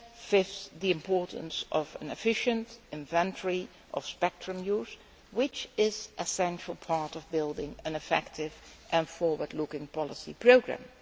Fifthly, the importance of an efficient inventory of spectrum use, which is an essential part of building an effective and forward looking policy programme.